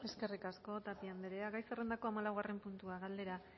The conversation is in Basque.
eskerrik asko tapia andrea gai zerrendako hamaikagarren puntua galdera